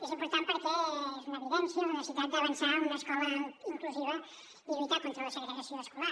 és important perquè és una evidència la necessitat d’avançar cap a una escola inclusiva i lluitar contra la segregació escolar